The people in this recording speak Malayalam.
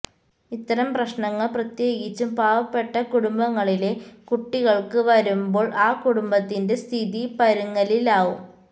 ഇത്തരം പ്രശ്നങ്ങള് പ്രത്യേകിച്ചും പാവപ്പെട്ട കുടുംബങ്ങളിലെ കുട്ടികള്ക്ക് വരുമ്പോള് ആ കുടുംബത്തിന്റെ സ്ഥിതി പരുങ്ങലിലാവും